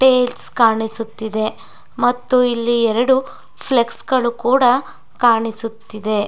Tiles ಕಾಣಿಸುತ್ತಿದೆ ಮತ್ತು ಇಲ್ಲಿ ಎರಡು ಫ್ಲೆಕ್ಸ್ ಗಳು ಕೂಡ ಕಾಣಿಸುತ್ತಿದೆ.